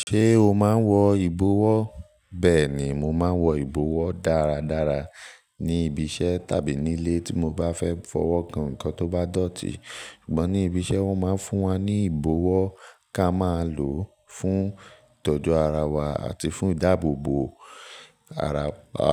Ṣé o máa ń wọ ìbọwọ́? Bẹ́ẹ̀ ni, mo máa ń wọ ìbọwọ́ dáradára ní ibi iṣẹ́ tàbí nílé tí mo bá fẹ́ fọwọ́ kan nnkan tó bá dọ̀tí. Ṣùgbọ́n ní ibi iṣẹ́ wọ́n máa ń fún wa ní ìbọwọ́ ká máa lò fún ìtọ́jú ara wa àti fún ìdáàbòbò ara wa.